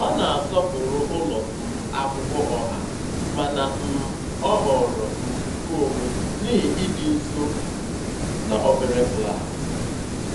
Ọ na-asọpụrụ ụlọ um akwụkwọ ọha mana um ọ họọrọ um nkeonwe n'ihi ịdị nso na obere klaasị.